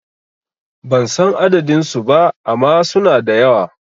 Ban san adadin su ba ama suna da yawa